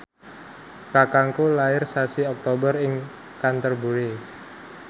kakangku lair sasi Oktober ing Canterbury